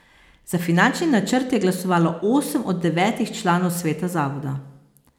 Za finančni načrt je glasovalo osem od devetih članov sveta zavoda.